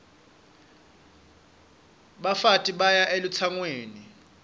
bafati baya elutsangweni